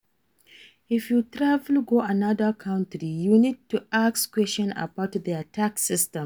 If you travel go anoda country you need to ask question about their tax system